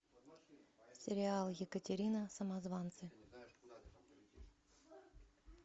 сериал екатерина самозванцы